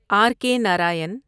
are کےناراین